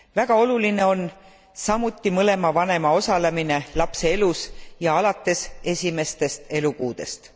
Väga oluline on samuti mõlema vanema osalemine lapse elus ja alates esimestest elukuudest.